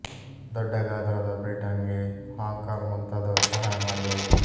ದೊಡ್ಡ ಗಾತ್ರದ ಬ್ರಿಟನ್ ಗೆ ಹಾಂಕಾಂಗ್ ಮುಂತಾದವು ಸಹಾಯ ಮಾಡಿದವು